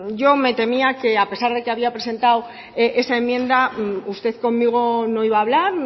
yo me temía que a pesar de que había presentado esa enmienda usted conmigo no iba a hablar